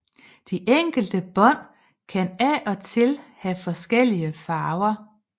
De enkelte bånd kan af og til have forskellige farver